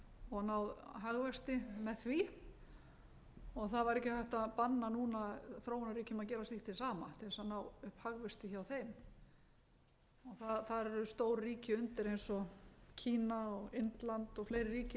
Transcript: og náð hagvexti með því það var ekki hægt að banna núna þróunarríkjum að gera slíkt hið sama til þess að ná hagvexti hjá þeim þar eru stór ríki undir eins og kína og indland og fleiri ríki